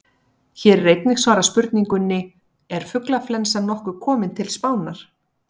Hér er einnig svarað spurningunni: Er fuglaflensan nokkuð komin til Spánar?